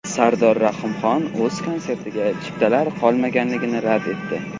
Sardor Rahimxon o‘z konsertiga chiptalar qolmaganligini rad etdi.